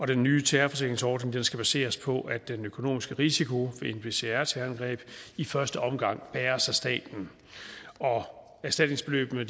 den nye terrorforsikringsordning skal baseres på at den økonomiske risiko ved nbcr terrorangreb i første omgang bæres af staten erstatningsbeløbene